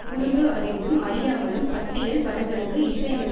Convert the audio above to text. குறும்பு அறிந்தும் அறியாமலும் பட்டியல் படங்களுக்கு இசையமைத்த